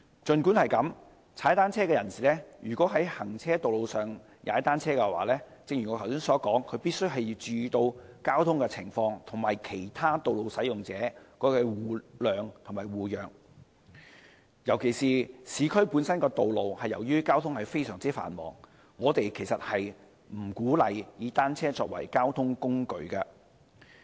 儘管如此，騎單車人士如在行車道上騎單車——正如我剛才所說——必須注意交通情況，與其他道路使用者互諒互讓，尤其是市區道路，由於交通非常繁忙，我們不鼓勵以單車作為交通工具。